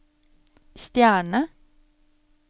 stjerne